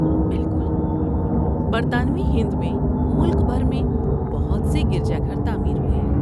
بالکل۔ برطانوی ہند میں ملک بھر میں بہت سے گرجا گھر تعمیر ہوئے۔